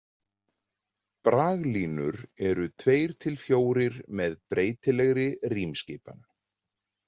Braglínur eru tveir til fjórir með breytilegri rímskipan.